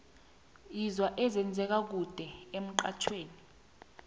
sizwa ezenze ka kude emxhajhewi